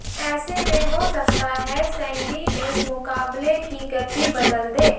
ऐसे में हो सकता है सैंडी इस मुकाबले की गति बदल दे